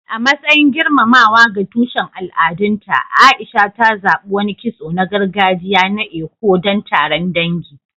A matsayin girmamawa ga tushen al'adunta, A'isha ta zaɓi wani kitso na gargajiya na Eko don taron dangi.